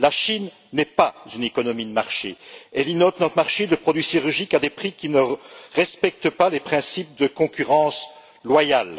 La Chine n'est pas une économie de marché, elle inonde notre marché de produits sidérurgiques à des prix qui ne respectent pas les principes de concurrence loyale.